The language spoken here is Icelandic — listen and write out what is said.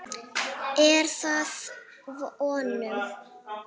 Er það að vonum.